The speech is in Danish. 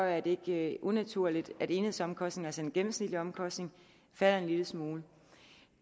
er det ikke unaturligt at enhedsomkostningerne altså de gennemsnitlige omkostninger falder en lille smule